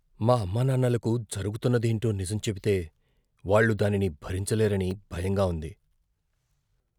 మా అమ్మానాన్నలకు జరుగుతున్నదేంటో నిజం చెబితే, వాళ్ళు దానిని భరించలేరని భయంగా ఉంది.